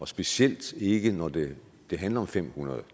specielt ikke når det det handler om fem hundrede